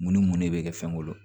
Mun ni mun ne bɛ kɛ fɛn kɔnɔ